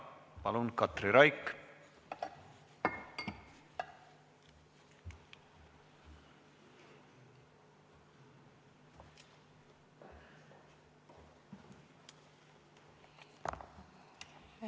Jah, palun, Katri Raik!